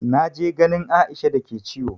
Na je ganin Aisha da ke ciwo.